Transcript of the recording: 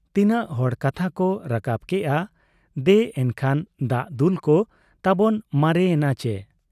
ᱛᱤᱱᱟᱹᱜ ᱦᱚᱲ ᱠᱟᱛᱷᱟ ᱠᱚ ᱨᱟᱠᱟᱵ ᱠᱮᱜ ᱟ ᱫᱮ ᱮᱱᱠᱷᱟᱱ ᱫᱟᱜ ᱫᱩᱞᱠᱚ ᱛᱟᱵᱚᱱ ᱢᱟᱨᱮ ᱮᱱᱟ ᱪᱤ ?